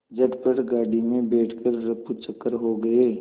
झटपट गाड़ी में बैठ कर ऱफूचक्कर हो गए